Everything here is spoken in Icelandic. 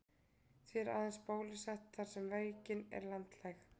Því er aðeins bólusett þar sem veikin er landlæg.